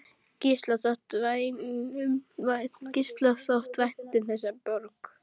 Gísla þótti vænt um þessa borg.